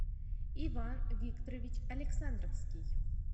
иван викторович александровский